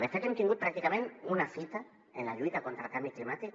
de fet hem tingut pràcticament una fita en la lluita contra el canvi climàtic